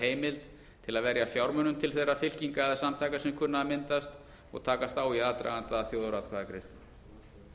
heimild til að verja fjármunum til þeirra fylkinga eða samtaka sem kunna að myndast og takast á í aðdraganda að þjóðaratkvæðagreiðslum